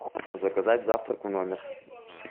заказать завтрак в номер